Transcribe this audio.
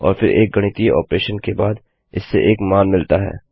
और फिर एक गणितीय ऑपरेशन के बाद इससे एक मान मिलता है